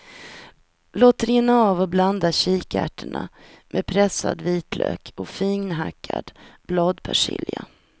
Låt rinna av och blanda kikärtorna med pressad vitlök och finhackad bladpersilja.